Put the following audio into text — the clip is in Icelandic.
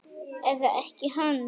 Eða ekkja hans?